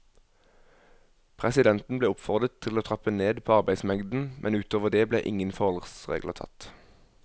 Presidenten ble oppfordret til å trappe ned på arbeidsmengden, men ut over det ble ingen forholdsregler tatt.